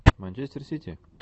манчестер сити